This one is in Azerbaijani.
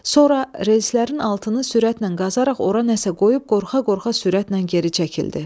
Sonra relslərin altını sürətlə qazaraq ora nəsə qoyub qorxa-qorxa sürətlə geri çəkildi.